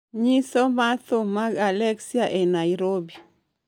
nyiso ma thum mag aleksa e nairobi